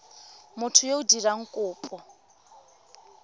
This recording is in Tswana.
motho yo o dirang kopo